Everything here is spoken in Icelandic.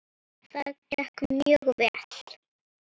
Það gekk mjög vel.